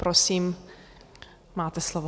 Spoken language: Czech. Prosím, máte slovo.